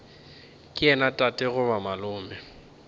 ke yena tate goba malome